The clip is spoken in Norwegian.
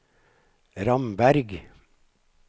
Ramberg